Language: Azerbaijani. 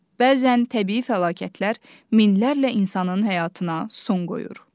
Bəzən təbii fəlakətlər minlərlə insanın həyatına son qoyur.